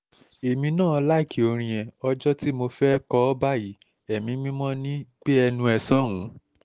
èmi náà láìkí orin yẹn ọjọ́ tí mo fẹ́ẹ́ kọ ọ́ báyìí ẹ̀mí mímọ́ ní gbénú ẹ̀ sọ́hùn-ún